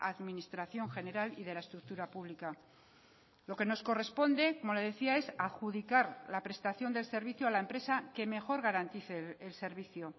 administración general y de la estructura pública lo que nos corresponde como le decía es adjudicar la prestación del servicio a la empresa que mejor garantice el servicio